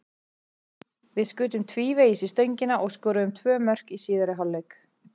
Við skutum tvívegis í stöngina og skoruðum tvö mörk í síðari hálfleik.